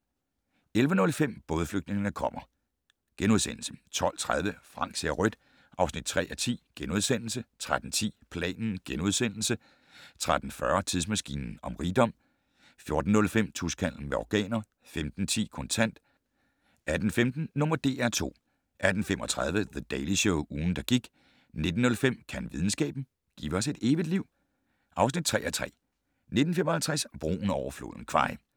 11:05: Bådflygtningene kommer * 12:30: Frank ser rødt (3:10)* 13:10: Planen * 13:40: Tidsmaskinen om rigdom 14:05: Tuskhandel med organer 15:10: Kontant 18:15: #DR2 18:35: The Daily Show - ugen, der gik 19:05: Kan videnskaben - give os et evigt liv (3:3) 19:55: Broen over floden Kwai